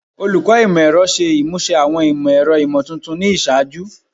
Olukọ Imọ-ẹrọ ṣe imuse awọn imọ-ẹrọ imotuntun ni iṣaaju